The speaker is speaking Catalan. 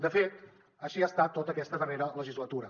de fet així ha estat tota aquesta darrera legislatura